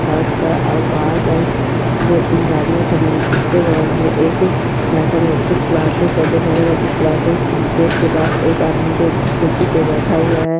काच का दो तीन गाड़िया खड़ी हुई है इसके बगल में एक मैथमेटिक्स क्लासेज है जो मैथमेटिक्स क्लासेज गेट के पास एक आदमी जो कुर्सी पर बैठा हुआ है।